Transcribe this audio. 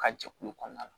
Ka jɛkulu kɔnɔna la